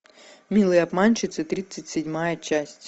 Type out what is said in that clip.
милые обманщицы тридцать седьмая часть